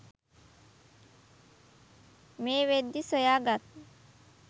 මේ වෙද්දී සොයාගත්